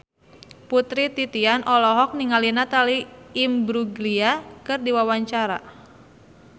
Putri Titian olohok ningali Natalie Imbruglia keur diwawancara